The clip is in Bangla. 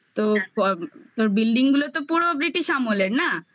তো তোর building গুলো তো পুরো British আমলের না